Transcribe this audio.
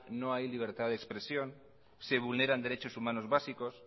no hay libertad de expresión se vulneran derechos humanos básicos